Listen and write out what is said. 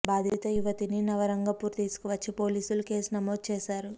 బాధిత యువతని నవరంగపూర్ తీసుకు వచ్చి పోలీసులు కేసు నమోదు చేశారు